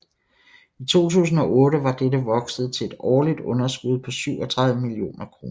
I 2008 var dette vokset til et årligt underskud på 37 millioner kr